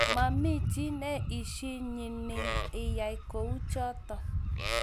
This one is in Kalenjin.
Mamie chii ne isinyinnie iyai kuchotok